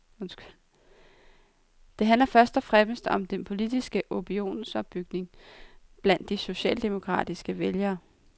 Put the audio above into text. Det handler først og fremmest om den politiske opinionsopbygning blandt de socialdemokratiske vælgere.